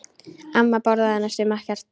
Amma borðaði næstum ekkert.